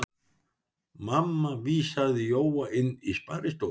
Mamma vísaði Jóa inn í sparistofu.